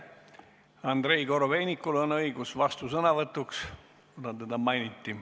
Andrei Korobeinikul on õigus vastusõnavõtuks, kuna teda mainiti.